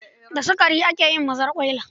Da sukari ake yin mazarƙwaila